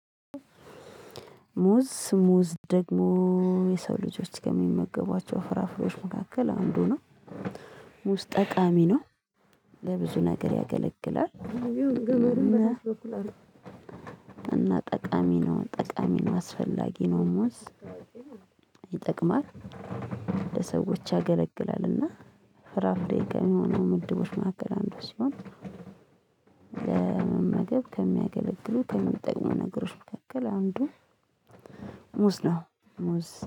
ሙዝ ሙዝ ደግሞ የሰው ልጆች ከሚመገቧቸው ፍራፍሬዎች መካከል አንዱ ነው። ውስጥ ጠቃሚ ነው ለብዙ ነገር ያገለግላል። እና ጠቃሚ ነው ጠቃሚ ነው አስፈላጊ ነው ሙዝ። ይጠቅማል ለሰዎች ያገለግላል። እና ፍራፍሬ ጋርም ሆነው ምድቦች መካከል አንዱ ሲሆን። ለመመገብ ከሚያገለግሉ ከሚጠቅሙ ነገሮች መካከል አንዱ። ሙዝ ነው ሙዝ